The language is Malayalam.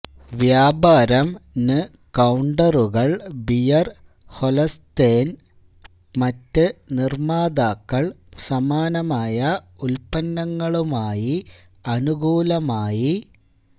വ്യാപാരം ന് കൌണ്ടറുകൾ ബിയർ ഹൊല്സ്തെന് മറ്റ് നിർമ്മാതാക്കൾ സമാനമായ ഉൽപ്പന്നങ്ങളുമായി അനുകൂലമായി